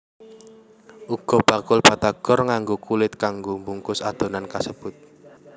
Uga bakul batagor nganggo kulit kanggo mbungkus adonan kasebut